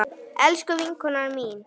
Elsku vinkona mín.